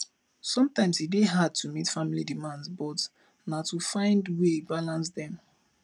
sometimes e dey hard to meet family demands but na to find way balance dem